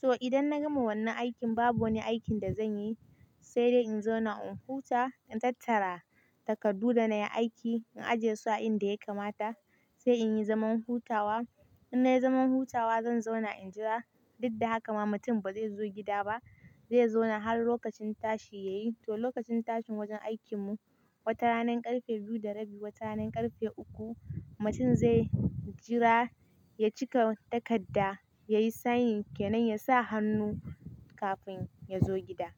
To idan na gama wannan aikin babu wani aikin da zan yi, sai dai in zauna in huta, in tattara takardu da na yi aiki, in ajiye su a inda ya kamata, sai in yi zaman hutawa. In na yi zaman hutawa zan zauna in jira, duk da haka ma mutum ba zai zo gida ba, zai zauna har lokacin tashi ya yi. To lokacin tashin wajen aikin mu, wata ranar ƙarfe biyu da rabi, wata ranar ƙarfe uku, mutum zai jira ya cika takarda, ya yi sign ke nan, ya sa hannu kafin ya zo gida.